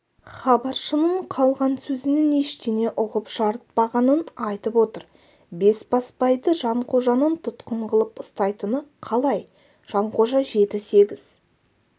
хабаршының қалған сөзінен ештеңе ұғып жарытпағанын айтып отыр бесбасбайды жанқожаның тұтқын қылып ұстайтыны қалай жанқожа жеті-сегіз